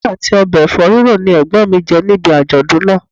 Iyán àti ọbẹ̀ Ẹ̀fọ́ ríro ni Ẹ̀gbọ́n mi jẹ níbi àjọ̀dún náà.